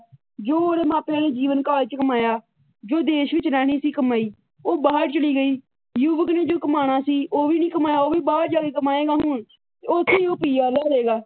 ਜੋ ਉਰੇ ਮਾਪਿਆ ਨੇ ਜੀਵਨ ਕਾਲ ਚ ਕਮਾਇਆ ਜੋ ਦੇਸ਼ ਵਿੱਚ ਰਹਿਣੀ ਸੀ ਕਮਾਈ ਉਹ ਬਾਹਰ ਚਲੀ ਗਈ। ਯੁਵੱਕ ਨੇ ਜੋ ਕਮਾਉਣਾ ਸੀ ਉਹ ਵੀ ਨੀ ਕਮਾਇਆ ਉਹ ਵੀ ਬਾਹਰ ਜਾ ਕੇ ਕਮਾਏਗਾ ਹੁਣ। ਉਹ ਉੱਥੇ ਹੀ ਪੀ. ਆਰ ਹੋਜੇਗਾ।